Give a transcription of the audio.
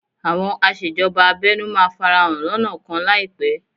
Àwọn aṣèjọba abẹ́nú máa farahàn lọ́nà kan láìpẹ́